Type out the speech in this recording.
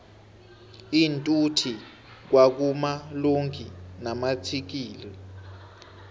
iinthuthi kwa kuma lonki namatsikixi